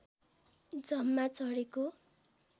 जम्मा चढेको